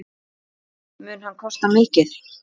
Mun hann kosta mikið?